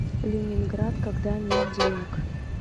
ленинград когда нет денег